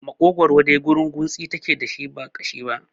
Makogwaro dai gurunguntsi take dashi ba ƙashi ba